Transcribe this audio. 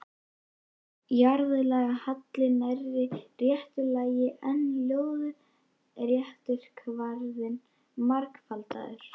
Jarðlagahalli nærri réttu lagi, en lóðrétti kvarðinn margfaldaður.